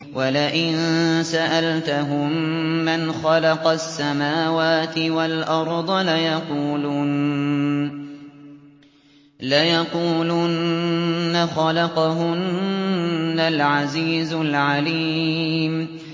وَلَئِن سَأَلْتَهُم مَّنْ خَلَقَ السَّمَاوَاتِ وَالْأَرْضَ لَيَقُولُنَّ خَلَقَهُنَّ الْعَزِيزُ الْعَلِيمُ